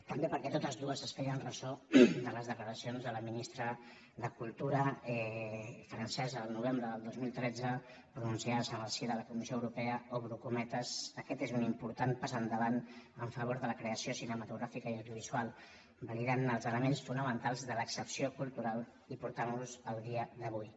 també perquè totes dues es feien ressò de les declaracions de la ministra de cultura francesa del novembre del dos mil tretze pronunciades en el si de la comissió europea obro cometes aquest és un important pas endavant en favor de la creació cinematogràfica i audiovisual que valida els elements fonamentals de l’excepció cultural i els porta al dia d’avui